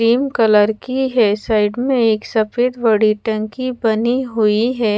Cream colour की है side में एक सफेद बड़ी टेेंकी बनी हुई हैं ।